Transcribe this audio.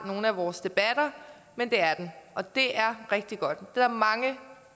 nogle af vores debatter men det er den og det er rigtig godt der er mange